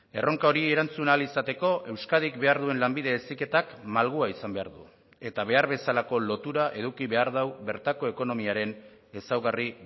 erronka hori erantzun ahal izateko euskadik behar duen lanbide heziketak malgua izan behar du eta behar bezalako lotura eduki behar du bertako ekonomiaren ezaugarri